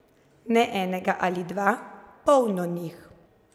Ne enega ali dva, polno njih.